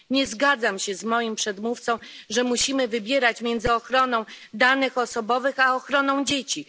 Nie zgadzam się z moim przedmówcą, że musimy wybierać między ochroną danych osobowych a ochroną dzieci.